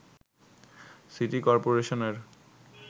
city করপোরেশনের